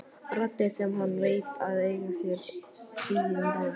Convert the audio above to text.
Raddir sem hann veit að eiga sér engin rök.